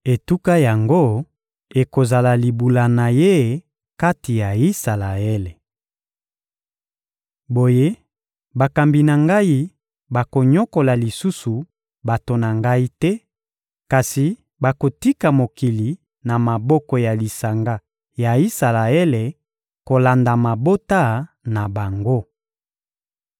Etuka yango ekozala libula na ye kati ya Isalaele. Boye, bakambi na Ngai bakonyokola lisusu bato na Ngai te, kasi bakotika mokili na maboko ya lisanga ya Isalaele kolanda mabota na bango.